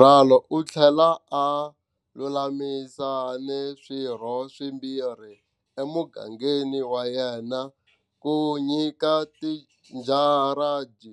Ralo u tlhele a lulamisa ni swirho swimbirhi emugangeni wa yena ku nyikela tijaradi